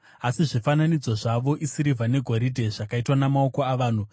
Asi zvifananidzo zvavo isirivha negoridhe, zvakaitwa namaoko avanhu.